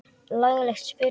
Laglega spurt!